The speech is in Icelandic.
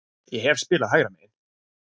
Ég hef spilað hægra megin.